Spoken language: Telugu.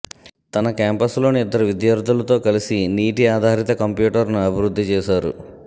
తన క్యాంపస్ లోని ఇద్దరు విద్యార్థులతో కలిసి నీటి ఆధారిత కంప్యూటర్ను అభివృద్థి చేసారు